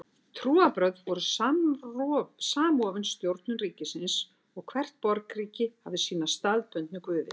Trúarbrögð voru samofin stjórnun ríkisins og hvert borgríki hafði sína staðbundnu guði.